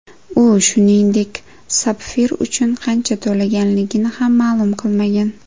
U, shuningdek, sapfir uchun qancha to‘laganligini ham ma’lum qilmagan.